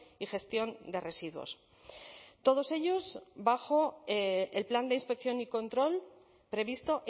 y gestión de residuos todos ellos bajo el plan de inspección y control previsto